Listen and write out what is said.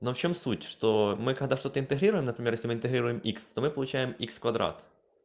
да в чем суть что мы когда что-то импозируем интегрируем икс то мы получаем икс в квадрате